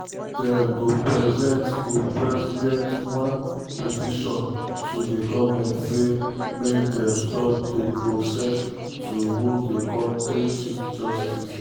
dem go president go president one petition to di goment say make dem stop di process to remove di kontri chief justice.